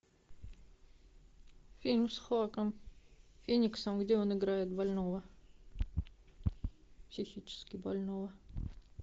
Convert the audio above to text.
фильм с хоакин фениксом где он играет больного психически больного